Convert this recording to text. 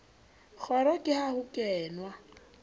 kgoro ke ha ho kenwa